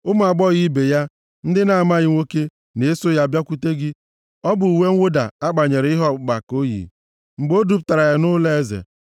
Ụmụ agbọghọ ibe ya, ndị na-amaghị nwoke, na-eso ya bịakwute gị; ọ bụ uwe mwụda a kpanyere ihe ọkpụkpa ka o yi mgbe e dubatara ya nʼụlọeze.